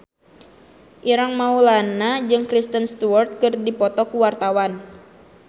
Ireng Maulana jeung Kristen Stewart keur dipoto ku wartawan